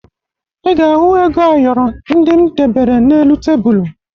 Ị ga-ahụ ego ayọrọ ndị m debere n'elu tebulu